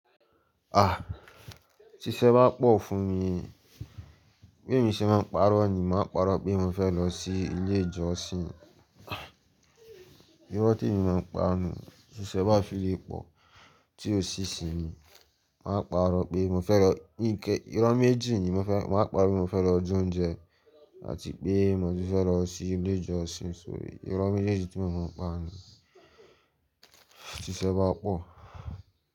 Ah! Ti iṣẹ́ bá pọ̀ fún mi, bí èmi ṣe máa ń parọ́ ni, màá parọ́ pé mo fẹ́ lọ sí ilé ìjọsìn. Irọ́ tí mo máa ń pa nù, ti iṣẹ́ bá fi lè pọ̀ tí ò sí sí mi, màá parọ́ pé mo fẹ́ lọ ike. Irọ́ méjì ni mó fẹ́, màá parọ́ pé mo fẹ́ lọ jẹ oúnjẹ àti pé mo ti fẹ́ lọ sí ilé ìjọsìn. So irọ́ méjeji tí mo máa ń pa nù tí iṣẹ́ bá pọ̀.